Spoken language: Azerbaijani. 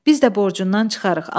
Biz də borcundan çıxarıq.